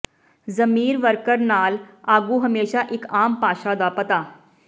ਜ਼ਮੀਰ ਵਰਕਰ ਨਾਲ ਆਗੂ ਹਮੇਸ਼ਾ ਇੱਕ ਆਮ ਭਾਸ਼ਾ ਦਾ ਪਤਾ